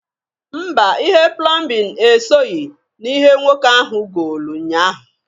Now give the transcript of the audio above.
Mba! Ihe plọmbịn e soghi n'ihe nwoke ahụ goolu nyaa ahụ.